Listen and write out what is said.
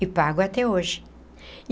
E pago até hoje.